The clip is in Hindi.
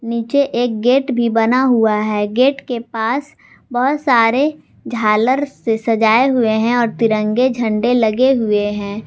नीचे एक गेट भी बना हुआ है गेट के पास बहुत सारे झालर से सजाए हुए हैं और तिरंगे झंडे लगे हुए हैं।